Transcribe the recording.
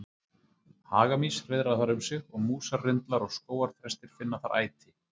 Hagamýs hreiðra þar um sig og músarrindlar og skógarþrestir finna þar æti.